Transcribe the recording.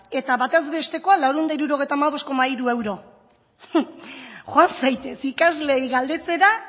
eta batezbestekoa laurehun eta hirurogeita hamabost koma hiru euro joan zaitez ikasleei galdetzera